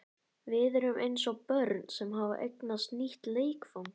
Við erum eins og börn sem hafa eignast nýtt leikfang.